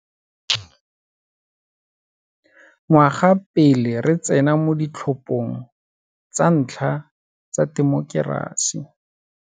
Ngwaga pele re tsena mo ditlhophong tsa ntlha tsa temokerasi.